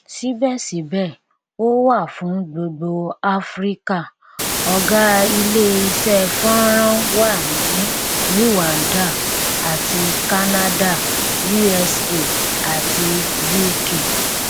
síbẹsíbẹ ó wà fún gbogbo áfíríkà ọgá ilé iṣẹ fọnrán wà ní rwanda àti canada usa àti uk